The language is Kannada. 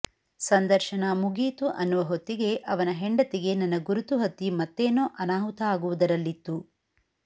ಸಂದರ್ಶನ ಮುಗಿಯಿತು ಅನ್ನುವ ಹೊತ್ತಿಗೆ ಅವನ ಹೆಂಡತಿಗೆ ನನ್ನ ಗುರುತು ಹತ್ತಿ ಮತ್ತೇನೋ ಅನಾಹುತ ಆಗುವುದರಲ್ಲಿತ್ತು